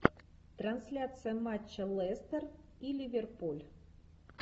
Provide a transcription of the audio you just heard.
трансляция матча лестер и ливерпуль